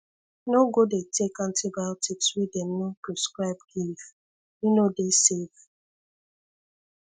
no go dey take antibiotics wey dem no prescribe give e no dey safe